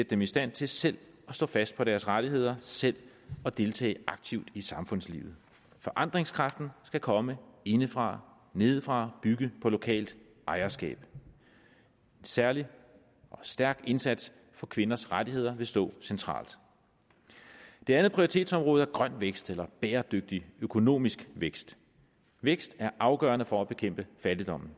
dem i stand til selv at stå fast på deres rettigheder selv at deltage aktivt i samfundslivet forandringskraften skal komme indefra nedefra bygge på lokalt ejerskab særlig en stærk indsats for kvinders rettigheder vil stå centralt det andet prioritetsområde er grøn vækst eller bæredygtig økonomisk vækst vækst er som afgørende for at bekæmpe fattigdommen